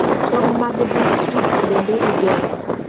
Tong' mag distrikts bende igero.